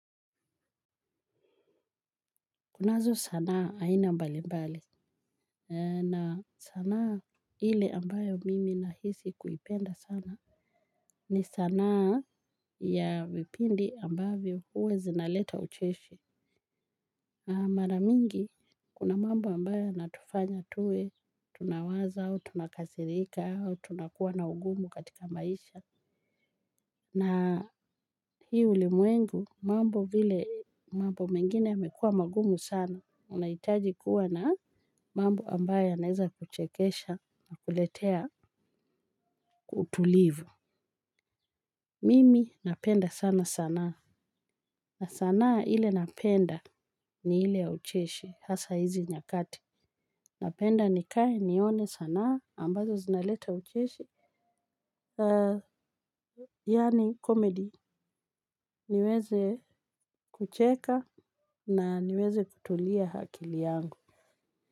Kunazo sanaa aina mbali mbali. Na sanaa ile ambayo mimi nahisi kuipenda sana. Ni sanaa ya vipindi ambayo huwa zinaleta ucheshi. Maramingi, kuna mambo ambayo natufanya tuwe, tunawaza au tunakasirika au tunakuwa na ugumu katika maisha. Na hii ulimwengu mambo vile mambo mengine imekuwa magumu sana unaitaji kuwa na mambo ambaye aneza kuchekesha na kuletea utulivu. Mimi napenda sana sanaa. Na sanaa ile napenda ni ile ya ucheshi hasa hizi nyakati. Napenda nikae nione sanaa ambazo zinaleta ucheshi. Yani comedy niweze kucheka na niweze kutulia hakili yangu.